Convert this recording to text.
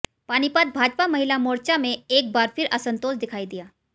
पानीपत भाजपा महिला मोर्चा में एक बार फिर असंतोष दिखायी दिया